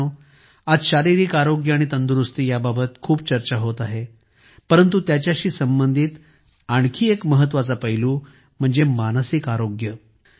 मित्रांनो आज शारीरिक आरोग्य आणि तंदुरुस्तीबाबत खूप चर्चा होत आहे परंतु त्याच्याशी संबंधित आणखी एक महत्त्वाचा पैलू म्हणजे मानसिक आरोग्य